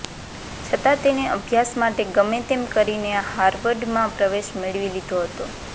છતાં તેણે અભ્યાસ માટે ગમે તેમ કરીને હાર્વર્ડમાં પ્રવેશ મેળવી લીધો હતો